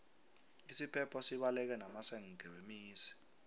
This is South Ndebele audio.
isiphepho sibaleke namasenge wemizi